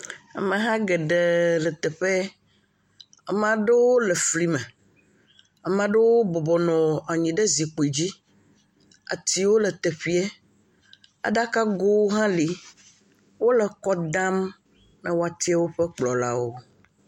Ameha geɖee le teƒeɛɛ. Amaa ɖewo le flime. Amaa ɖewo bɔbɔ nɔ anyi ɖe zikpidzi. Atiwo le teƒeɛ, aɖakago hã le. Wole kɔ dam be woatsia woƒe kplɔlawo.